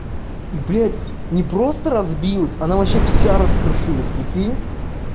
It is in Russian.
и блядь не просто разбилась она вообще вся раскрошилась прикинь